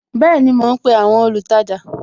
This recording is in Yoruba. Bẹẹni, mo ń pe àwọn olùtajà